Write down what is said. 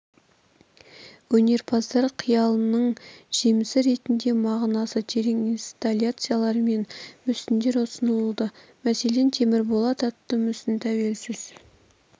өнерпаздар қиялының жемісі ретінде мағынасы терең инсталляциялар мен мүсіндер ұсынылды мәселен темірболат атты мүсін тәуелсіз